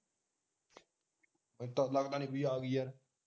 ਮੈਨੂੰ ਤਾ ਲਗਦਾ ਨੀ ਬਈ ਆਗੀ ਯਾਰ